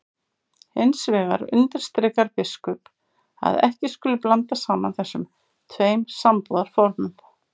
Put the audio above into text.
Hins vegar undirstrikar biskup að ekki skuli blanda saman þessum tveim sambúðarformum.